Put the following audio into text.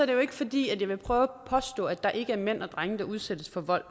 jo ikke fordi jeg vil prøve at påstå at der ikke er mænd og drenge der udsættes for vold